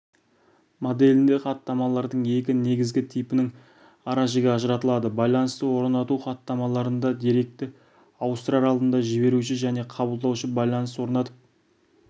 моделінде хаттамалардың екі негізгі типінің ара-жігі ажыратылады байланысты орнату хаттамаларында деректерді ауыстырар алдында жіберуші және қабылдаушы байланыс орнатып